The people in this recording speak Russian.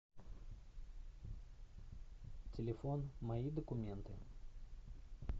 телефон мои документы